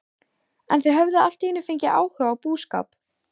En þau höfðu allt í einu fengið áhuga á búskap.